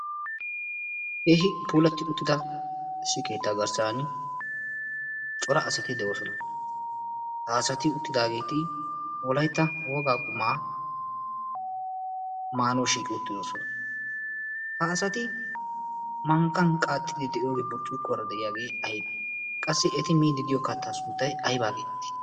yehi puulatti uttida sii keettaa garssan cora asati de'oosona. ha asati uttidaageeti wolaitta oogaa qumaa maanoo shiiqi uttidoosona. ha asati manqqan qaaxxidi de'iyoogi burcciiqkuwaara de'iyaagee aybee qassi eti miidi diyo kaattaa sunttay aibaageeti?